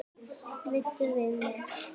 Veiddum við vel.